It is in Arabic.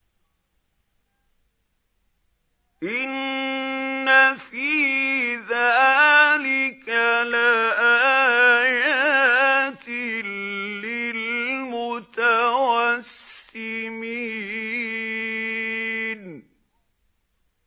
إِنَّ فِي ذَٰلِكَ لَآيَاتٍ لِّلْمُتَوَسِّمِينَ